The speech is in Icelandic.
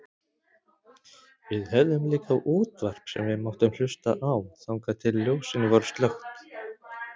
Við höfðum líka útvarp sem við máttum hlusta á þangað til ljósin voru slökkt.